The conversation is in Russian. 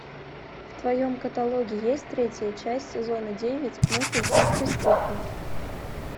в твоем каталоге есть третья часть сезона девять мыслить как преступник